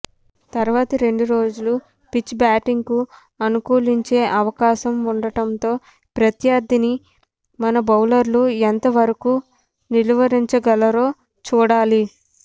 తర్వాతి రెండు రోజులు పిచ్ బ్యాటింగ్కు అనుకూలించే అవకాశం ఉండటంతో ప్రత్యర్థిని మన బౌలర్లు ఎంత వరకు నిలువరించగలరో చూడాలి